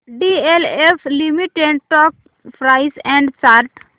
DLF limited stock price and chart